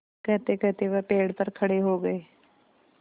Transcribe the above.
कहतेकहते वह पेड़ पर खड़े हो गए